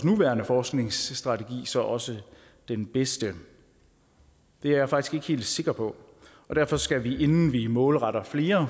nuværende forskningsstrategi så også den bedste det er jeg faktisk ikke helt sikker på og derfor skal vi inden vi målretter flere